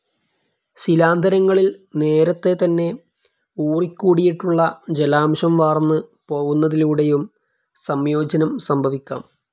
ശിലാന്തരങ്ങളിൽ നേരത്തെതന്നെ ഊറിക്കൂടിയിട്ടുള്ള ജലാംശം വാർന്നുപോവുന്നതിലൂടെയും സംയോജനം സംഭവിക്കാം.